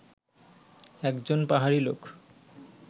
একজন পাহাড়ী লোক